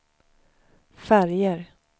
färger